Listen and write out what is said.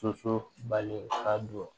Soso bali ka don